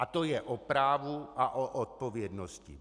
A to je o právu a o odpovědnosti.